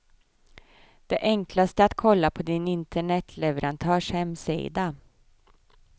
Det enklaste är att kolla på din internetleverantörs hemsida.